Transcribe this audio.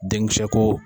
Den kisɛ ko